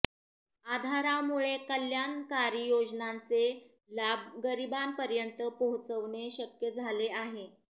आधारामुळे कल्याणकारी योजनांचे लाभ गरीबांपर्यंत पोहचवणे शक्य झाले आहे